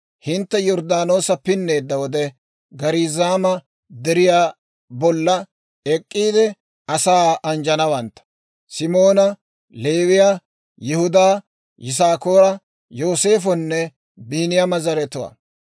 «Hintte Yorddaanoosa pinneedda wode, Gariizaama Deriyaa bolla ek'k'iide asaa anjjanawantta: Simoona, Leewiyaa, Yihudaa, Yisaakoora, Yooseefonne Biiniyaama zaratuwaa.